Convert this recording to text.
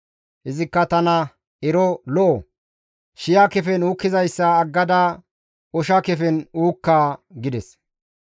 Izikka tana, «Ero lo7o, shi7a kefen uukkizayssa aggada osha kefen uukka» gides.